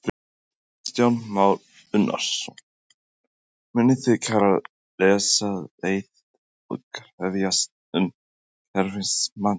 Kristján Már Unnarsson: Munuð þið kæra þessa leið og krefjast umhverfismats?